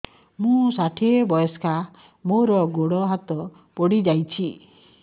ମୁଁ ଷାଠିଏ ବୟସ୍କା ମୋର ଗୋଡ ହାତ ପଡିଯାଇଛି